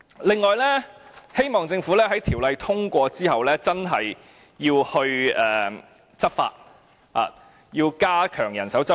此外，希望政府在《條例草案》通過後，真的要執法，要加強人手執法。